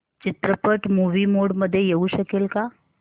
चित्रपट movie mode मध्ये येऊ शकेल का